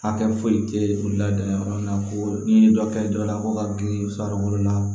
Hakɛ foyi tɛ la dingɛ kɔnɔna na ko ni dɔ kɛra dɔ la ko ka girin far'o la